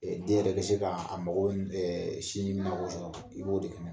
Ɛ den yɛrɛ bɛ se ka a mago i b'o de kɛnɛ